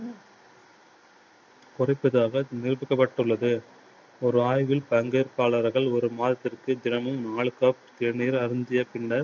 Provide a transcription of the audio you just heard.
கொடுப்பதாக நிரூபிக்கப்பட்டுள்ளது. ஒரு ஆய்வில் பங்கேற்பாளர்கள் ஒரு மாதத்திற்கு தினமும் நாலு cup தேநீர் அருந்திய பின்னர்